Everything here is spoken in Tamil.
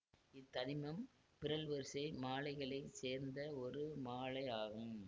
இத் தனிமம் பிறழ்வரிசை மாழைகளை சேர்ந்த ஒரு மாழை ஆகும்